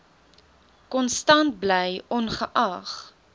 konstant bly ongeag